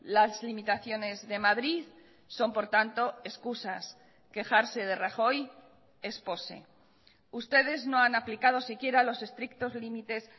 las limitaciones de madrid son por tanto excusas quejarse de rajoy es pose ustedes no han aplicado siquiera los estrictos límites